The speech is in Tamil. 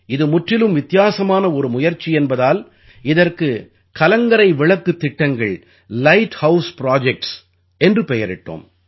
இது முற்றிலும் வித்தியாசமான ஒரு முயற்சி என்பதால் இதற்கு கலங்கரை விளக்குத் திட்டங்கள் லைட் ஹவுஸ் புரொஜெக்ட்ஸ் என்று பெயரிட்டோம்